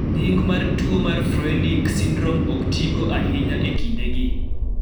Nying mar �tuo mar Froehlich syndrome� ok tigo ahinya e kindegi.